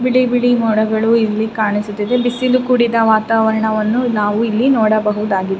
ಬಿಳಿ ಬಿಳಿ ಮೋಡಗಳು ಇಲ್ಲಿ ಕಾಣಿಸುತ್ತಿದೆ ಬಿಸಿಲು ಕುಡಿದ ವಾತಾವರಣವನ್ನು ನಾವು ಇಲ್ಲಿ ನೋಡಬಹುದಾಗಿದೆ.